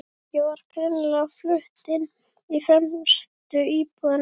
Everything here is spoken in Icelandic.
Fólkið var greinilega flutt inn í fremstu íbúðina.